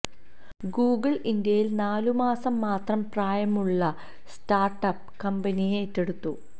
Google ഇന്ത്യയിൽ നാലു മാസം മാത്രം പ്രായമുള്ള സ്റ്റാർട് അപ് കമ്പനിയെ ഏറ്റെടുത്തു